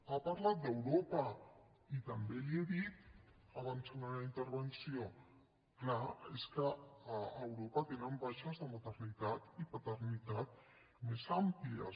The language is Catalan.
ha parlat d’europa i també li ho he dit abans en la meva intervenció clar és que a europa tenen baixes de maternitat i paternitat més àmplies